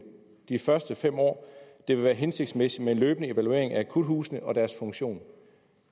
de første fem år det vil være hensigtsmæssigt med en løbende evaluering af akuthusene og deres funktion